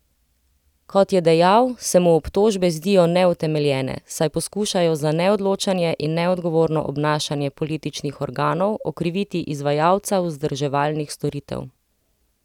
Kot je dejal, se mu obtožbe zdijo neutemeljene, saj poskušajo za neodločanje in neodgovorno obnašanje političnih organov okriviti izvajalca vzdrževalnih storitev.